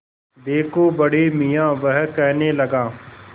देखो बड़े मियाँ वह कहने लगा